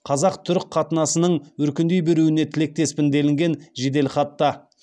қазақ түрік қатынасының өркендей беруіне тілектеспін делінген жеделхатта